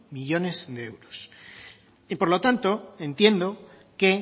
millónes de euros y por lo tanto entiendo que